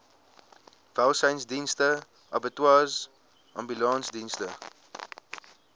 welsynsdienste abattoirs ambulansdienste